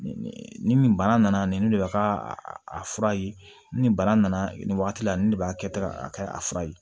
Ni nin bana nana nin de ka a fura ye ni nin bana nana nin wagati la nin de b'a kɛ tan a ka a fura ye